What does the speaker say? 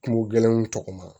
Kungo gɛlɛnw tɔgɔma